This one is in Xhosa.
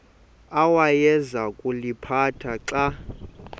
awayeza kuliphatha xa